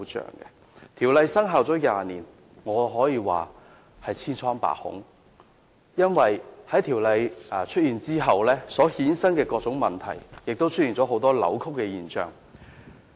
然而，《條例》生效20年以來，情況可謂千瘡百孔，因為《條例》制定後衍生了各種問題，亦出現了很多扭曲的現象。